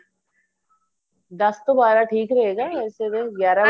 ਦੱਸ ਤੋਂ ਬਾਰਾਂ ਠੀਕ ਰਹੇ ਗਾ ਸਵੇਰੇ ਗਿਆਰਾ